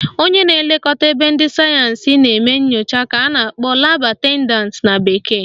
Onye na-elekọta ebe ndị sayensị na-eme nchọpụta ka a na-akpọ Lab attendant na bekee